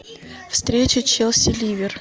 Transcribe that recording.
встреча челси ливер